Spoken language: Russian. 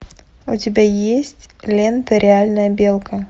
у тебя есть лента реальная белка